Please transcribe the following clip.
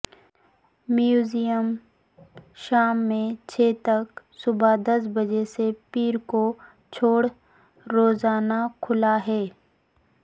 museum شام میں چھ تک صبح دس بجے سے پیر کو چھوڑ روزانہ کھلا ہے